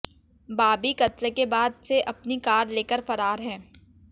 बाबी कत्ल के बाद से अपनी कार लेकर फरार है